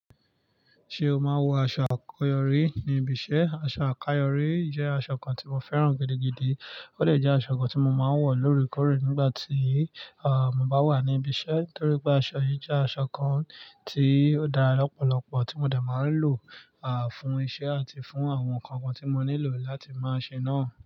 Ṣé o máa wọ aṣọ àkọ́yọrí níbi iṣẹ́? Aṣọ àkọ́yọrí jẹ́ aṣọ kan tí mo fẹ́ràn gidigidi. Ó dè jẹ́ aṣọ kan tí mo máa ń wọ̀ lórekóre nígbà tí, à, mo bá wà níbi iṣẹ́ torí pé aṣọ yìí jẹ́ aṣọ kan tí ó dára lọ́pọ̀lọpọ̀ tí mo de máa ń lò, à, fún iṣẹ́ àti fún àwọn nǹkan kan tí mo nílò láti máa ṣe náà.